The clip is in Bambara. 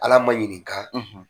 Ala ma ɲininka